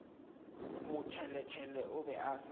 motšheletšhele o be a sa